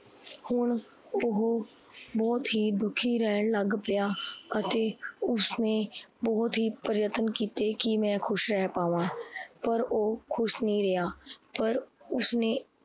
ਹੁਣ ਓਹੋ ਬਹੁਤ ਹੀ ਦੁਖੀ ਰਹਣ ਲੱਗ ਪਇਆ ਅਤੇ ਉਸਨੇ ਬਹੁਤ ਹੀ ਪ੍ਰਿਯਤਨ ਕੀਤੇ ਕੀ ਮੈ ਖੁਸ਼ ਰਹ ਪਾਵਾ ਪਰ ਓਹ ਖੁਸ਼ ਨੀ ਰੇਆ ਪਰ ਉਸਨੇ